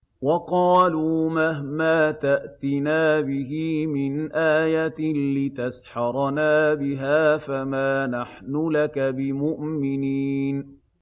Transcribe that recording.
وَقَالُوا مَهْمَا تَأْتِنَا بِهِ مِنْ آيَةٍ لِّتَسْحَرَنَا بِهَا فَمَا نَحْنُ لَكَ بِمُؤْمِنِينَ